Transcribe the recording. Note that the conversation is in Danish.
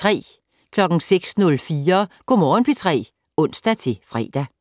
06:04: Go' Morgen P3 (ons-fre)